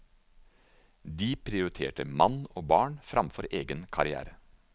De prioriterte mann og barn fremfor egen karrière.